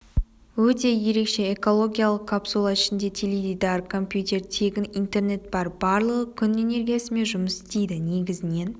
өте ерекше экологиялық капсула ішінде теледидар компьютер тегін интернет бар барлығы күн энергиясымен жұмыс істейді негізінен